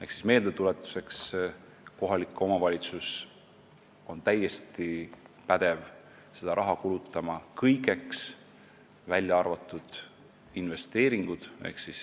Ehk siis meeldetuletuseks, et kohalik omavalitsus on täiesti pädev seda raha kulutama kõigeks, välja arvatud investeeringud.